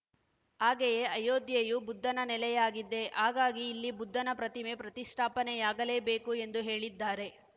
ಹಾಗೆಯೇ ಅಯೋಧ್ಯೆಯು ಬುದ್ಧನ ನೆಲೆಯಾಗಿದೆ ಹಾಗಾಗಿ ಇಲ್ಲಿ ಬುದ್ಧನ ಪ್ರತಿಮೆ ಪ್ರತಿಷ್ಠಾಪನೆಯಾಗಲೇಬೇಕು ಎಂದು ಹೇಳಿದ್ದಾರೆ